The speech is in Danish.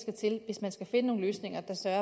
sag